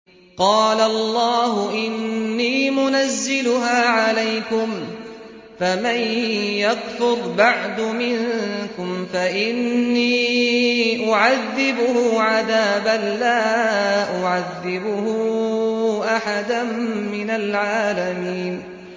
قَالَ اللَّهُ إِنِّي مُنَزِّلُهَا عَلَيْكُمْ ۖ فَمَن يَكْفُرْ بَعْدُ مِنكُمْ فَإِنِّي أُعَذِّبُهُ عَذَابًا لَّا أُعَذِّبُهُ أَحَدًا مِّنَ الْعَالَمِينَ